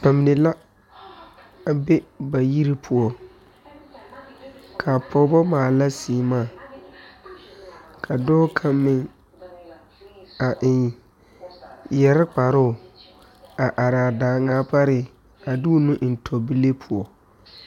Nobɔ mine a be ba yiri poɔ kaa pɔɔbɔ maala sèèmaa ka dɔɔ kaŋ meŋ a eŋ yɛre kparoo a araa daaŋaa pare a de o nu eŋ to bile poɔ.